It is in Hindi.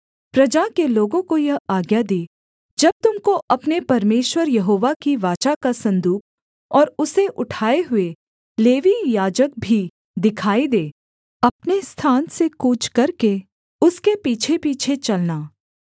प्रजा के लोगों को यह आज्ञा दी जब तुम को अपने परमेश्वर यहोवा की वाचा का सन्दूक और उसे उठाए हुए लेवीय याजक भी दिखाई दें तब अपने स्थान से कूच करके उसके पीछेपीछे चलना